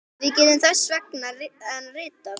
Við getum þess vegna ritað